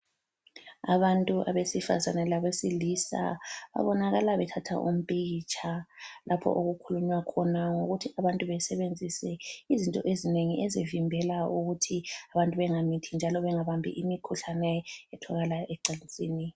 Abantu abesifazana labesilisa babonakala bethatha umpikitsha lapho okukhulunywa khona ngokuthi abantu besenzise izinto ezinengi ezivimbela ukuthi abantu bengamithi njalo bengabambi imkhuhlane etholakala ecansini.